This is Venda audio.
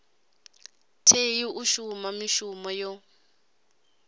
tei u shuma mishumo yo